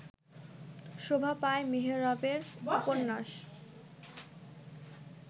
শোভা পায় মেহরাবের উপন্যাস